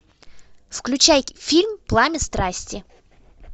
включай фильм пламя страсти